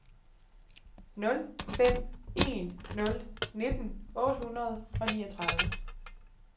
nul fem en nul nitten otte hundrede og niogtredive